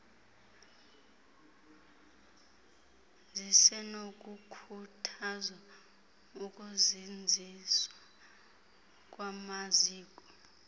zisenokukhuthazwa ukuzinziswa kwamaziko